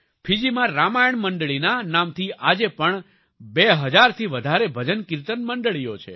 ફિજીમાં રામાયણ મંડળીના નામથી આજે પણ બે હજારથી વધારે ભજનકિર્તન મંડળીઓ છે